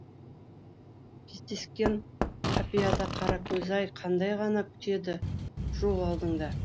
кездескен қапияда қаракөз ай қандай ғана күтеді жол алдыңда